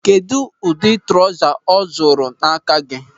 Kedụ ụdị trọza ọ zụrụ n'aka gị?